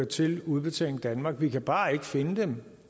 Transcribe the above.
til udbetaling danmark vi kan bare ikke finde dem